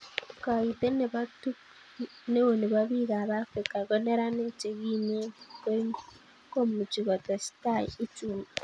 Koitet neo nebo bikap afrika ko neranik che kimen komuchi ko tesetai uchumi